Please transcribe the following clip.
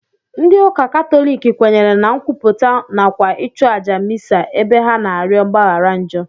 Ndị ụka katọlik kwenyere na nkwupụta nakwa ịchụ àjà misa ebe ha na-arịọ mgbaghara njọ